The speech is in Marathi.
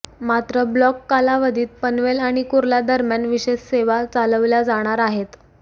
मात्र ब्लॉक कालावधीत पनवेल आणि कुर्ला दरम्यान विशेष सेवा चालविल्या जाणार आहेत